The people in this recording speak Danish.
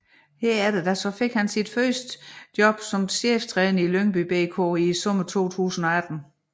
Herefter fik han sit første job som cheftræner i Lyngby BK i sommeren 2018